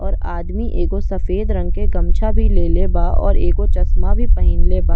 और आदमी एगो सफ़ेद रंग के गमझा भी लेले बा और एगो चश्मा भी पेहेनले बा।